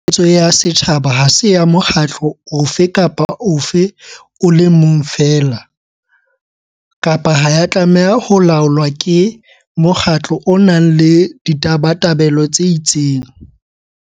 Tshebeletso ya setjhaba ha se ya mokgatlo ofe kapa ofe o le mong feela, kapa ha ya tlameha ho laolwa ke mokgatlo o nang le ditabatabelo tse itseng.